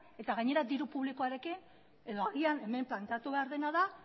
eta gainera diru publikoarekin edo agian hemen planteatu behar dena da